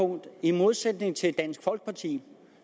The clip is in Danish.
i modsætning til dansk folkeparti